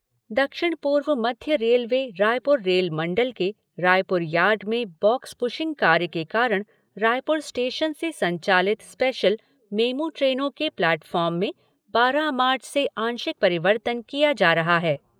दक्षिण पूर्व मध्य रेलवे रायपुर रेलमंडल के रायपुर यार्ड में बॉक्स पुशिंग कार्य के कारण रायपुर स्टेशन से संचालित स्पेशल मेमू ट्रेनों के प्लेटफॉर्म में बारह मार्च से आंशिक परिवर्तन किया जा रहा है।